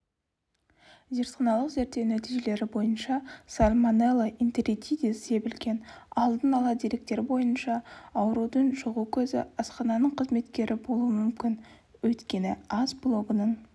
зертханалық зерттеу нәтижелері бойынша сальмонелла энтеритидис себілген алдын ала деректер бойынша аурудың жұғу көзі асхананың қызметкері болуы мүмкін өйткені ас блогының